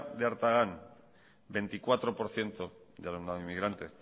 de artagan veinticuatro por ciento de alumnado inmigrante